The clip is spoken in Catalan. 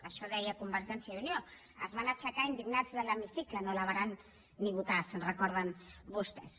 això deia convergència i unió es van aixecar indignats de l’hemicicle no la varen ni votar se’n recorden vostès